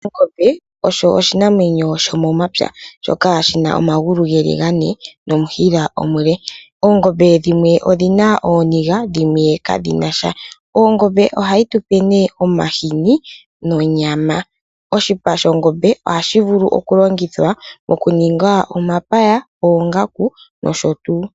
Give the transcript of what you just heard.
Ongombe osho oshinamwenyo shomomapya shoka shina omangulu ngele ngane nomushila omule, oongombe dhimwe odhina oninga dhimwe kadhinasha , ongombe ohayi tupe ne omahini nonyama, oshipa shongombe oha shivulu okulongithwa omapaya, oongaku nosho tu.